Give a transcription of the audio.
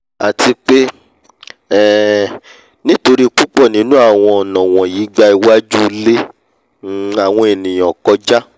àti pé um nítorí púpọ̀ nínú awọ̀n ọ̀nà wọ̀nyí gba iwajú ilé um àwọn ènìà kọká